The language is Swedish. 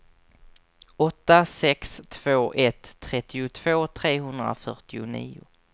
åtta sex två ett trettiotvå trehundrafyrtionio